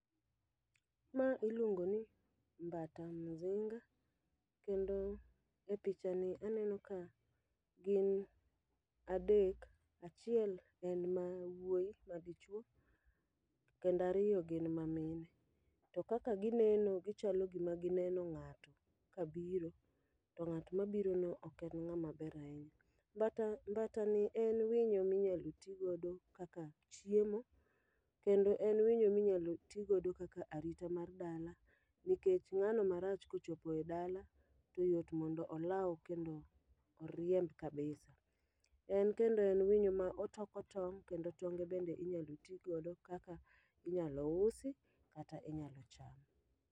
Ma iluongo ni mbata mzinga, kendo e picha ni aneno ka gin adek. Achiel en ma wuoyi ma dichwo, kendariyo gin ma mine. To kaka gineno gichalo gima gineno ng'ato ka biro, to ng'at ma biro no ok en ng'ama ber ahinya. Mbata, mbata ni en winyo minyalo ti godo kaka chiemo, kendo en winyo minyal ti godo kaka arita mar dala. Nikech ng'ano marach kochopo e dala, to yot mondo olaw kendo oriemb kabisa. En kendo en winyo ma otoko tong' kendo tonge bende inyalo ti godo kaka inyalo usi kata inyalo cham.